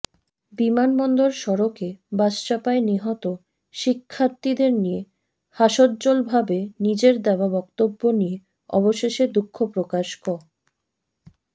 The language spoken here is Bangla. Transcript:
বিমানবন্দর সড়কে বাসচাপায় নিহত শিক্ষার্থীদের নিয়ে হাস্যোজ্জ্বলভাবে নিজের দেওয়া বক্তব্য নিয়ে অবশেষে দুঃখপ্রকাশ ক